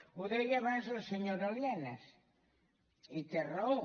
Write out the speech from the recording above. ho deia abans la senyora lienas i té raó